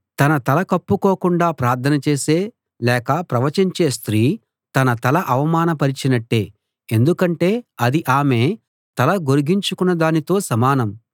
తన తల కప్పుకోకుండా ప్రార్థన చేసే లేక ప్రవచించే స్త్రీ తన తల అవమానపరచినట్టే ఎందుకంటే అది ఆమె తల గొరిగించుకున్న దానితో సమానం